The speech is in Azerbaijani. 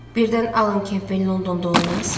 Birdən Alan Kempell Londonda olmaz?